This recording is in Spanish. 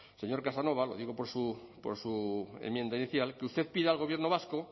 señor casanova lo digo por su enmienda inicial que usted pida al gobierno vasco